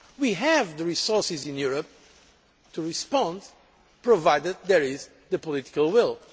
We have the resources in Europe to respond, provided there is the political will.